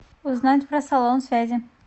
узнать про салон связи